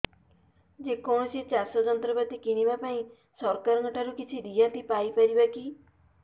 ଯେ କୌଣସି ଚାଷ ଯନ୍ତ୍ରପାତି କିଣିବା ପାଇଁ ସରକାରଙ୍କ ଠାରୁ କିଛି ରିହାତି ପାଇ ପାରିବା କି